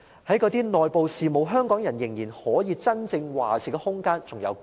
在那些內部事務，香港人仍然可以真正作主的空間有多少？